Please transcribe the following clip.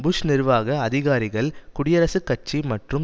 push நிர்வாக அதிகாரிகள் குடியரசுக்கட்சி மற்றும்